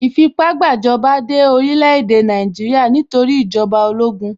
Ìfipá-gbàjọba dé orílẹ̀-èdè Nàìjíríà nítorí ìjọba ológun.